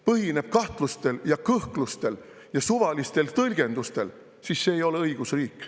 … põhineb kahtlustel ja kõhklustel ja suvalistel tõlgendustel, siis see ei ole õigusriik.